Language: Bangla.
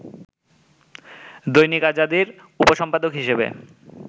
দৈনিক আজাদীর উপসম্পাদক হিসেবে